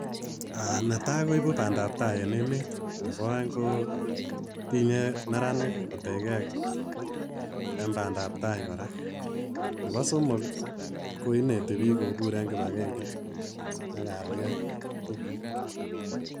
Netai koibu bandap tai en emet ak Nebo aeng kokonu kipagenge eng bik.